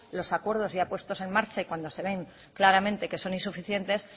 los acuerdos ya puestos en marcha y cuando se ven claramente que son insuficientes